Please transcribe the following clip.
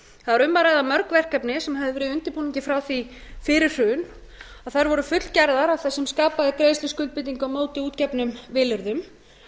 það var um að ræða mörg verkefni sem höfðu verið í undirbúningi frá því fyrir hrun og þær voru fullgerð af þeim sem skapaði greiðsluskuldbindingu á móti útgefnum vilyrðum